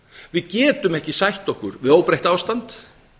við getum ekki sætt okkur við óbreytt ástand